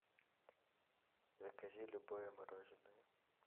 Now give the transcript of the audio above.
закажи любое мороженое